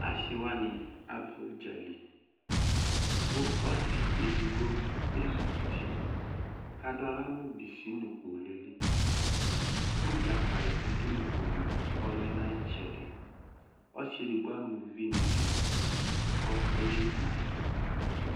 asiwuani aba udzaliKu OSIedigbo ezikuti kadala nʋ bisinʋkpolueliKu dʒakali bi du kpolu kɔlɛ nu ayi tsɛdiOSI edigbo amu vi ni du ko eyeli nu ayɛtu